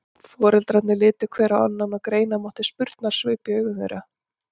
Foreldrarnir litu hver á annan og greina mátti spurnarsvip í augum þeirra.